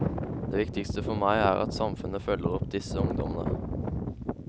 Det viktigste for meg er at samfunnet følger opp disse ungdommene.